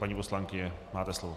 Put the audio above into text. Paní poslankyně, máte slovo.